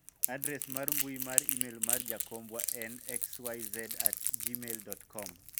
adres mar mbui mar email mar jakombwa en xyz@gmail.com